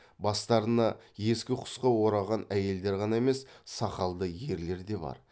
бастарына ескі құсқы ораған әйелдер ғана емес сақалды ерлер де бар